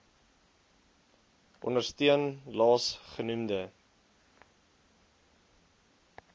ondersteun laas genoemde